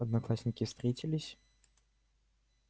одноклассники встретились